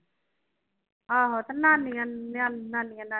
ਆਹੋ ਨਾਨੀ ਹੈ ਤੇ